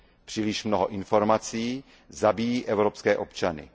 Příliš mnoho informací zabíjí evropské občany.